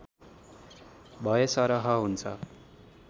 भएसरह हुन्छ